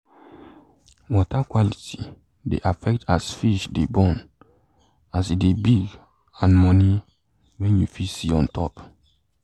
water quality dey affect as fish de born as e de big and money wen you fit see ontop